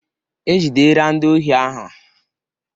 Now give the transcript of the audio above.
Ejidera ndị ohi ahụ.